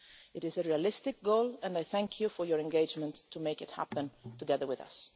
It is a realistic goal and I thank you for your engagement to make it happen together with us.